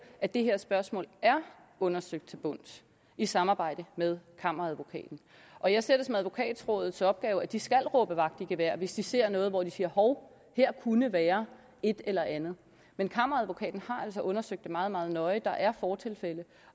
at det her spørgsmål er undersøgt til bunds i samarbejde med kammeradvokaten og jeg ser det som advokatrådets opgave at de skal råbe vagt i gevær hvis de ser noget hvor de siger hov her kunne være et eller andet men kammeradvokaten har altså undersøgt det meget meget nøje der er fortilfælde